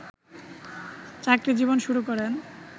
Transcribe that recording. চাকরি জীবন শুরু করেন